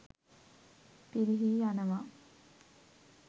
පිරිහී යනවා.